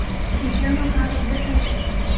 ип макаров дс